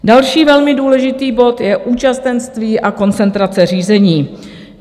Další velmi důležitý bod je účastenství a koncentrace řízení.